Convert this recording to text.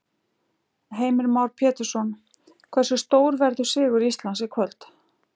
Heimir Már Pétursson: Hversu stór verður sigur Íslands í kvöld?